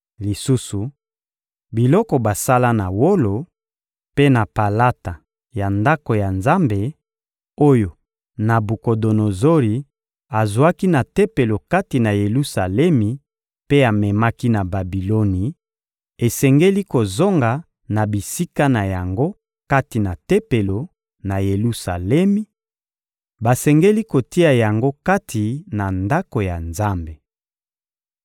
Lisusu, biloko basala na wolo mpe na palata ya Ndako ya Nzambe, oyo Nabukodonozori azwaki na Tempelo kati na Yelusalemi mpe amemaki na Babiloni, esengeli kozonga na bisika na yango kati na Tempelo, na Yelusalemi; basengeli kotia yango kati na Ndako ya Nzambe.